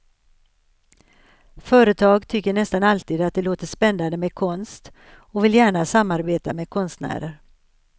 Företag tycker nästan alltid att det låter spännande med konst och vill gärna samarbeta med konstnärer.